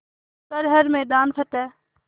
कर हर मैदान फ़तेह